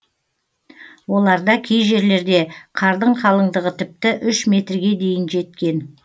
оларда кей жерлерде қардың қалыңдығы тіпті үш метрге дейін жеткен